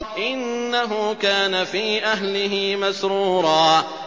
إِنَّهُ كَانَ فِي أَهْلِهِ مَسْرُورًا